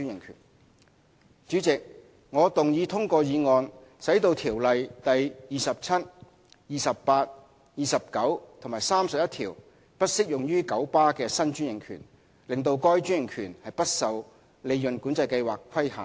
代理主席，我動議通過議案，使《條例》第27、28、29和31條不適用於九巴的新專營權，令該專營權不受利潤管制計劃規限。